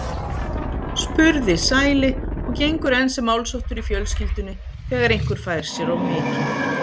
spurði Sæli og gengur enn sem málsháttur í fjölskyldunni þegar einhver fær sér of mikið.